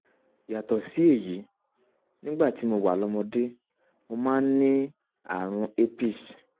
yàtọ̀ sí èyí nígbà tí mo wà lọ́mọdé mo máa ń ní ààrùn cs] herpes